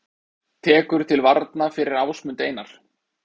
Tekur til varna fyrir Ásmund Einar